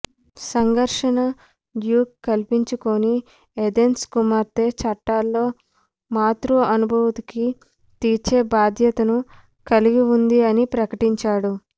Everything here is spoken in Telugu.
సంఘర్షణ డ్యూక్ కల్పించుకొని ఏథెన్స్ కుమార్తె చట్టాల్లో మాతృ అనుమతికి తీర్చే బాధ్యతను కలిగి ఉంది అని ప్రకటించాడు